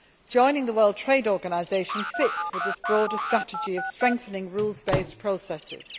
Joining the World Trade Organisation fits with this broader strategy of strengthening rules based processes.